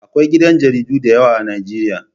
Akwai gidan jaridu da yawa a Nijeriya